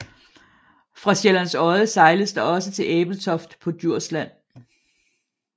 Fra Sjællands Odde sejles der også til Ebeltoft på Djursland